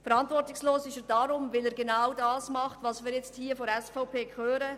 Verantwortungslos ist er deshalb, weil er genau das tun will, was wir jetzt hier von der SVP hören.